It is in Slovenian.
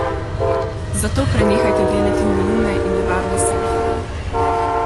Zato prenehajte delati neumne in nevarne selfije.